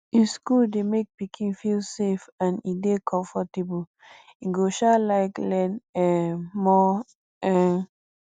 if school dey make pikin feel safe and e dey comfortable e go um like learn um more um